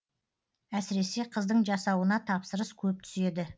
әсіресе қыздың жасауына тапсырыс көп түседі